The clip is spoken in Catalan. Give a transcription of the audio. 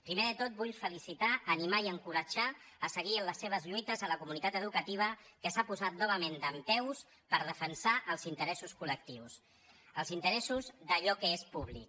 primer de tot vull felicitar animar i encoratjar a seguir amb les seves lluites la comunitat educativa que s’ha posat novament dempeus per defensar els interessos collectius els interessos d’allò que és públic